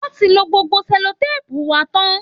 Wọ́n ti lo gbogbo sẹ́lòtèèpù wa tán